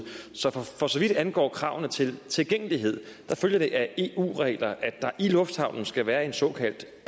så for for så vidt angår kravene til tilgængelighed følger det af eu regler at der i lufthavnen skal være en såkaldt